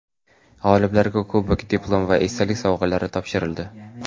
G‘oliblarga kubok, diplom va esdalik sovg‘alari topshirildi.